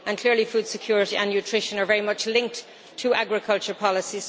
Clearly food security and nutrition are very much linked to agriculture policy.